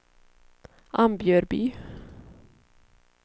Ambjörby